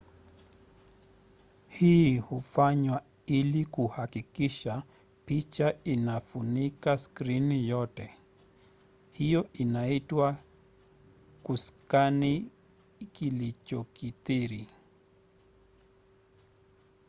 hii hufanywa ili kuhakikisha picha inafunika skrini yote. hiyo inaitwa kuskani kulikokithiri